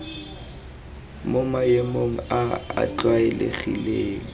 mo maemong a a tlwaelegileng